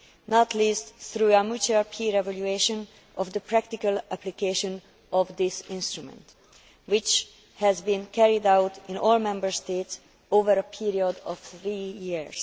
not least through a mutual peer evaluation of the practical application of this instrument which has been carried out in all Member States over a period of three years.